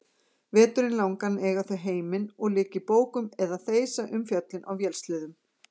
Veturinn langan eiga þau heiminn og liggja í bókum eða þeysa um fjöllin á vélsleðum.